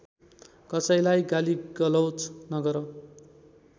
कसैलाई गालीगलौज नगर